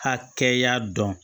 Hakɛya dɔn